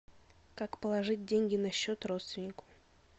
как положить деньги на счет родственнику